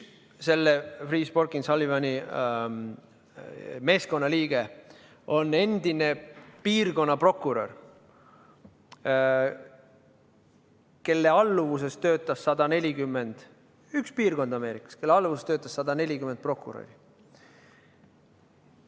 Üks Freeh, Sporkin & Sullivani meeskonnaliige on endine piirkonnaprokurör – üks piirkond Ameerikas –, kelle alluvuses töötas 140 prokuröri.